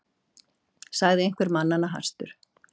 sagði einhver mannanna hastur.